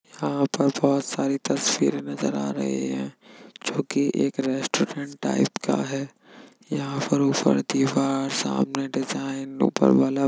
यहाँ पर बहुत सारी तस्वीरें नजर आ रही है जोकि एक रेस्टॉरेन्ट टाइप का है। यहाँ पर ऊपर दीवार सामने डिज़ाइन ऊपर बल्ब --